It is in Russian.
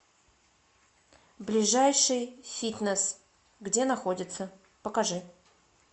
ближайший фитнес где находится покажи